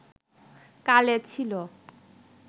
কালে ছিল